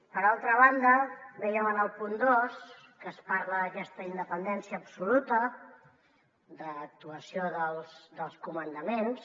per altra banda veiem en el punt dos que es parla d’aquesta independència absoluta d’actuació dels comandaments